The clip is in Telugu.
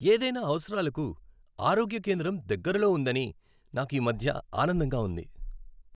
ఏదైనా అవసరాలకు ఆరోగ్య కేంద్రం దగ్గరలో ఉందని నాకు ఈ మధ్య ఆనందంగా ఉంది.